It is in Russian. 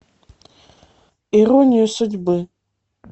ирония судьбы